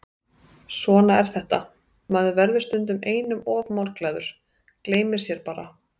Svona er þetta, maður verður stundum einum of málglaður, gleymir sér bara.